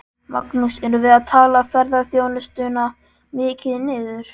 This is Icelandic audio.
Magnús: Erum við að tala ferðaþjónustuna mikið niður?